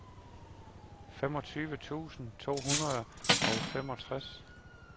femogtyve tusind to hundrede og femogtres